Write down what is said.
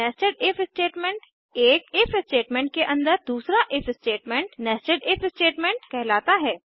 nested if statements एक if statement के अन्दर दूसरा if statement nested if statement कहलाता है